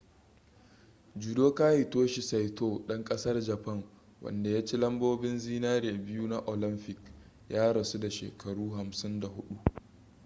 judoka hitoshi saito ɗan ƙasar japan wanda ya ci lambobin zinare biyu na olamfik ya rasu da shekaru 54